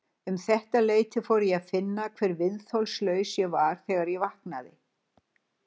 Um þetta leyti fór ég að finna hve viðþolslaus ég var þegar ég vaknaði.